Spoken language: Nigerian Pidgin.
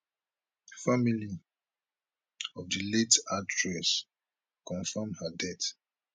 family of di late actress confam her death